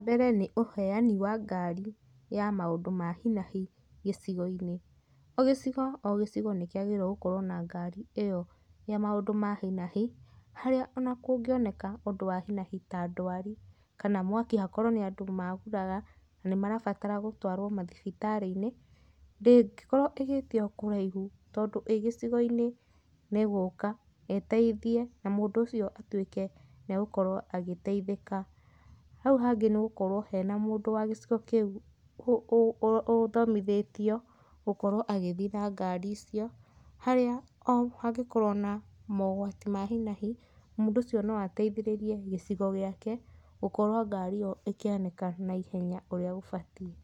Mbere nĩ ũheani wa ngari ya maũndũ ma hi na hi gĩcigo-inĩ. O gĩcigo o gĩcigo nĩ kĩagĩrĩirwo gũkorwo na ngari ĩyo ya maũndũ ma hi na hi, harĩa ona kũngĩoneka ũndũ wa hi na hi ta ndwari kana mwaki hakorwo nĩ andũ magũrara na nĩmarabatara gũtwarwo mathibitarĩ-inĩ, ndĩngĩkorwo ĩgĩtio kũraihu tondũ ĩ gĩcigo-inĩ nĩ ĩgũka ĩteithie na mũndũ ũcio atuĩke nĩ agũkorwo agĩteithĩka. Hau hangĩ nĩ gũkorwo hena mũndũ wa gĩcigo kĩu ũthomithĩtio gũkorwo agĩthiĩ na ngari icio, harĩa o hangĩkorwo na mogwati ma hi na hi, mũndũ ucio no ateithĩrĩrie gĩcigo gĩake gũkorwo ngari ĩyo ĩkĩoneka na ihenya ũrĩa gũbatiĩ.